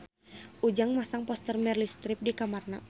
Ujang masang poster Meryl Streep di kamarna